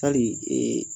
Hali